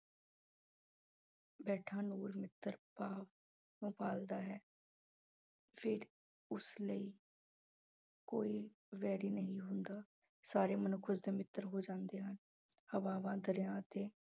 ਬੈਠਾ ਨੂਰ ਮਿੱਤਰ ਭਾਵ ਨੂੰ ਪਾਲਦਾ ਹੈ ਫਿਰ ਉਸ ਲਈ ਕੋਈ ਵੈਰੀ ਨਹੀਂ ਹੁੰਦਾ, ਸਾਰੇ ਮਨੁੱਖ ਉਸਦੇ ਮਿੱਤਰ ਹੋ ਜਾਂਦੇ ਹਨ ਹਵਾਵਾਂ, ਦਰਿਆ ਅਤੇ